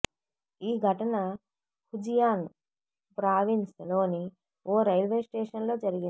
ఈ ఘటన Fujian province లోని ఓ రైల్వే స్టేషన్ లో జరిగింది